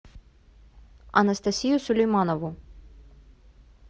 анастасию сулейманову